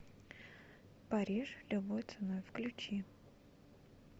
париж любой ценой включи